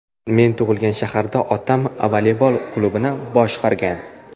Men tug‘ilgan shaharda otam voleybol klubini boshqargan.